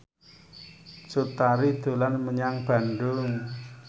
Cut Tari dolan menyang Bandung